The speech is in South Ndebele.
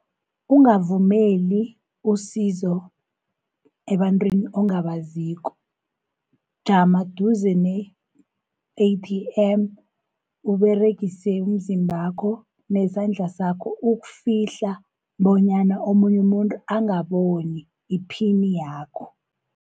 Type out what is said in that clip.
Ungavumeli usizo ebantwini ongabaziko. Jama duze ne-A_T_M Uberegise umzimbakho, nesandla sakho ukufihla, bonyana omunye umuntu angaboni iphini yakho.